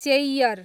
Cheyyar